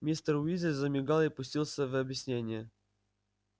мистер уизли замигал и пустился в объяснения